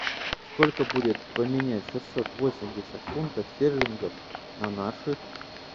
сколько будет поменять шестьсот восемьдесят фунтов стерлингов на наши